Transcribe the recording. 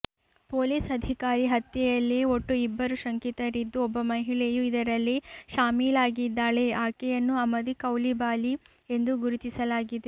police ಅಧಿಕಾರಿ ಹತ್ಯೆಯಲ್ಲಿ ಒಟ್ಟು ಇಬ್ಬರು ಶಂಕಿತರಿದ್ದು ಒಬ್ಬ ಮಹಿಳೆಯೂ ಇದರಲ್ಲಿ ಶಾಮೀಲಾಗಿದ್ದಾಳೆ ಆಕೆಯನ್ನು ಅಮದಿ ಕೌಲಿಬಾಲಿ ಎಂದು ಗುರುತಿಸಲಾಗಿದೆ